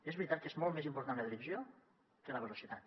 és veritat que és molt més important la direcció que la velocitat